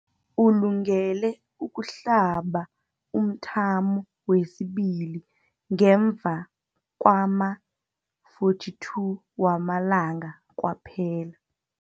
Ulungele ukuhlaba umthamo wesibili ngemva kwama-42 wamalanga kwaphela.